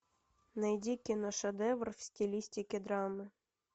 найди киношедевр в стилистике драмы